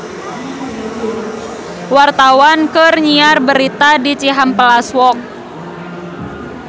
Wartawan keur nyiar berita di Cihampelas Walk